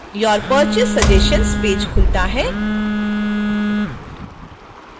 your purchase suggestions page खुलता है